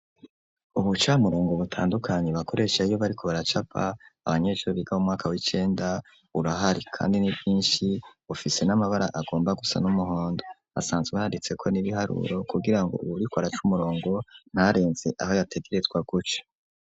ubucamurongo butandukanyi bakoreshe iyo bari ku baracapa abanyesuru biga m umwaka w'icenda urahari kandi n'ibyinshi bofise n'amabara agomba gusa n'umuhondo asanzwe handitse ko n'ibiharuro kugira ngo bburikoarac umurongo narenze aho yategerezwa guce